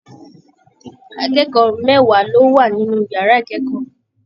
Akẹ́kọ̀ọ́ mẹwa ló wà nínú yàrá ikẹkọọ mi.